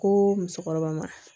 Ko musokɔrɔba ma